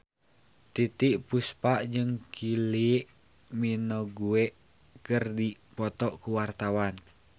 Titiek Puspa jeung Kylie Minogue keur dipoto ku wartawan